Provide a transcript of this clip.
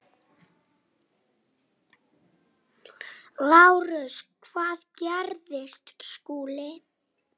LÁRUS: Hvað gerði Skúli?